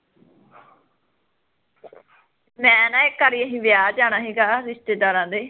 ਮੈਂ ਨਾ ਇੱਕ ਵਾਰੀ ਅਸੀਂ ਵਿਆਹ ਜਾਣਾ ਸੀਗਾ, ਰਿਸ਼ਤੇਦਾਰਾਂ ਦੇ